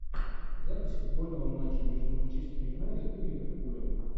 запись футбольного матча между манчестер юнайтед и ливерпулем